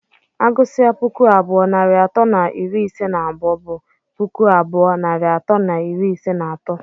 Agụsịa puku abụọ narị atọ na iri ise na abụọ, bụ puku abụọ narị atọ na iri ise na atọ.